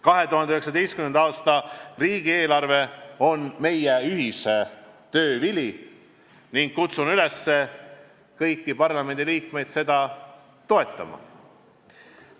2019. aasta riigieelarve on meie ühise töö vili ja ma kutsun üles kõiki parlamendiliikmeid seda toetama.